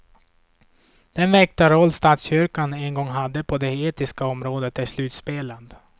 Den väktarroll statskyrkan en gång hade på det etiska området är slutspelad.